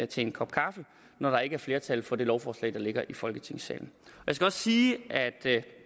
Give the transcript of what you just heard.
til en kop kaffe når der ikke er flertal for det lovforslag der fremsættes i folketingssalen jeg skal også sige at